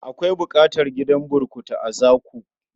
Akwai buƙatar gidan burkutu a Zaku.